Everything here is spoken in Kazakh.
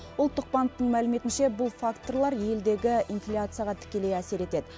ұлттық банктің мәліметінше бұл факторлар елдегі инфляцияға тікелей әсер етеді